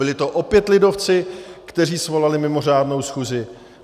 Byli to opět lidovci, kteří svolali mimořádnou schůzi.